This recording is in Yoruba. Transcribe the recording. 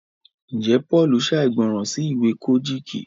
njé Paul ṣàìgbọràn sí ìwé Kojiki?